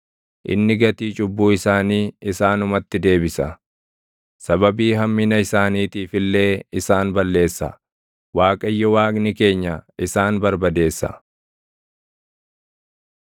Inni gatii cubbuu isaanii isaanumatti deebisa; sababii hammina isaaniitiif illee isaan balleessa; Waaqayyo Waaqni keenya isaan barbadeessa.